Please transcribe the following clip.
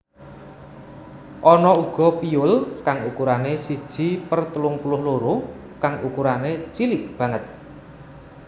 Ana uga piyul kang ukurané siji per telung puluh loro kang ukurané cilik banget